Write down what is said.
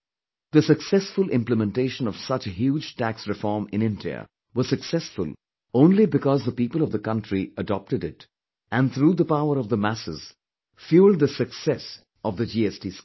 The successful implementation of such a huge tax reform in India was successful only because the people of the country adopted it and through the power of the masses, fuelled the success of the GST scheme